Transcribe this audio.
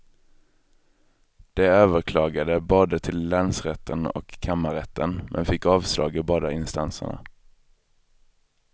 De överklagade både till länsrätten och kammarrätten, men fick avslag i båda instanserna.